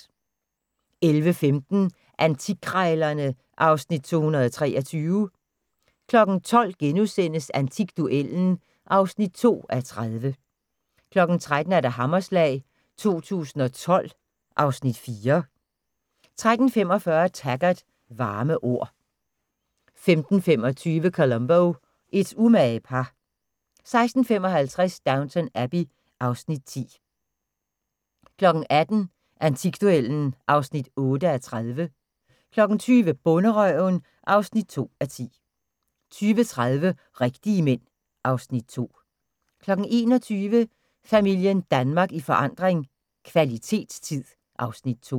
11:15: Antikkrejlerne (Afs. 223) 12:00: Antikduellen (2:30)* 13:00: Hammerslag 2012 (Afs. 4) 13:45: Taggart: Varme ord 15:25: Columbo: Et umage par 16:55: Downton Abbey (Afs. 10) 18:00: Antikduellen (8:30) 20:00: Bonderøven (2:10) 20:30: Rigtige Mænd (Afs. 2) 21:00: Familien Danmark i forandring – kvalitetstid (Afs. 2)